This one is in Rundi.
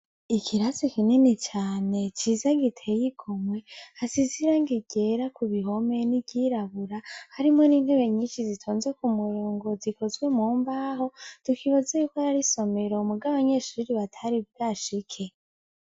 Ikirasi kinini cane ciza giteye igomwe hasize irangi ryera ku bihome n'iryirabura harimwo n'intebe nyinshi zitonze ku murongo zikozwe mumbaho tukibaza yuko yari isomero muga abanyeshuri batari bwashike.